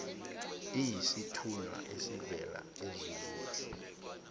iyisithunywa esivela ezulwini